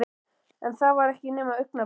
En það var ekki nema augnablik.